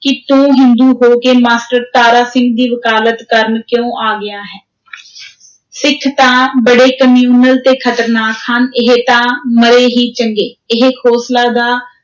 ਕਿ ਤੂੰ ਹਿੰਦੂ ਹੋ ਕੇ ਮਾਸਟਰ ਤਾਰਾ ਸਿੰਘ ਦੀ ਵਕਾਲਤ ਕਰਨ ਕਿਉਂ ਆ ਗਿਆ ਹੈਂ ਸਿੱਖ ਤਾਂ ਬੜੇ communal ਤੇ ਖ਼ਤਰਨਾਕ ਹਨ, ਇਹ ਤਾਂ ਮਰੇ ਹੀ ਚੰਗੇ, ਇਹ ਖੋਸਲਾ ਦਾ